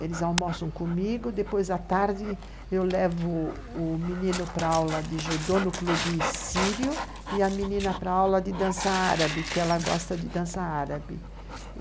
eles almoçam comigo, depois à tarde eu levo o menino pra aula de judô no clube sírio e a menina para aula de dança árabe, que ela gosta de dança árabe.